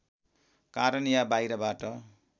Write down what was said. कारण या बाहिरबाट